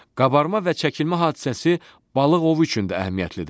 Qabarma və çəkilmə hadisəsi balıq ovu üçün də əhəmiyyətlidir.